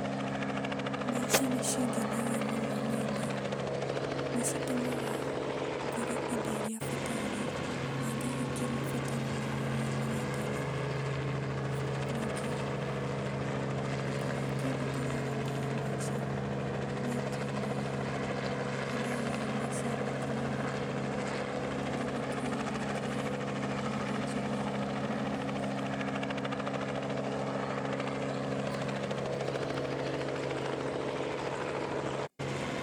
Mbeca nĩcingenagia mũno nĩũndũ nĩcitũmaga ngũre indo iria bataire, nangahingia mabataro mothe marĩa ndĩnamo. Nyingĩ kĩndũ kĩrĩa kĩũru ngereire na mbeca, nĩatĩ nĩndĩ ndaiywo mbeca nyingĩ mũno. Kĩndũ kĩu nĩgĩatũmire njĩgue ũru mũno ngoro.